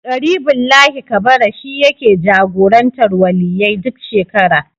Ƙaribullahi Kabara shi yake jagorantar Waliyyai duk shekara.